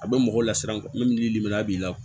A bɛ mɔgɔw lasiran min li a b'i la